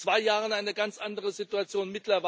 Wir hatten vor zwei Jahren eine ganz andere Situation.